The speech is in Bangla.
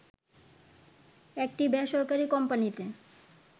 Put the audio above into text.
একটি বেসরকারি কোম্পানিতে